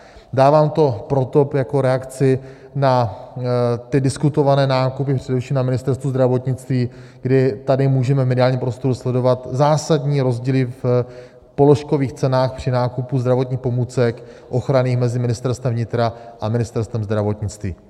Dávám to proto, jako reakci na ty diskutované nákupy především na Ministerstvu zdravotnictví, kdy tady můžeme v mediálním prostoru sledovat zásadní rozdíly v položkových cenách při nákupu zdravotních pomůcek ochranných mezi Ministerstvem vnitra a Ministerstvem zdravotnictví.